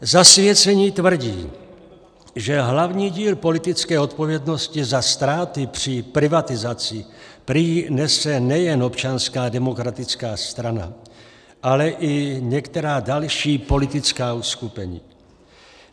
Zasvěcení tvrdí, že hlavní díl politické odpovědnosti za ztráty při privatizaci prý nese nejen Občanská demokratická strana, ale i některá další politická uskupení.